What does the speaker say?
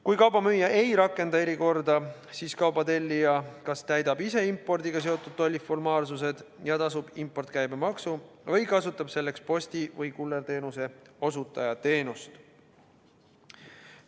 Kui kauba müüja ei rakenda erikorda, siis kauba tellija kas täidab ise impordiga seotud tolliformaalsused ja tasub impordikäibemaksu või kasutab selleks posti- või kullerteenuse osutaja teenust.